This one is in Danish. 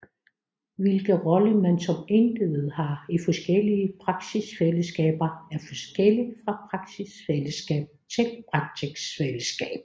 Hvilken rolle man som individ har i forskellige praksisfællesskaber er forskelligt fra praksisfællesskab til praksisfællesskab